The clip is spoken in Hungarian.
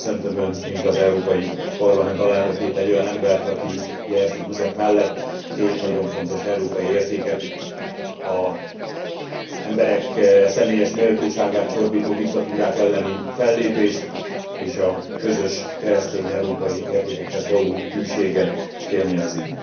Köszöntöm Önt, mind az Európai Parlament alelnökét, egy olyan embert, aki Jerzy Buzek mellett két nagyon fontos európai értéket, az emberek személyes méltóságát csorbító diktatúrák elleni fellépést és a közös keresztény európai értékekhez való hűséget fémjelzi.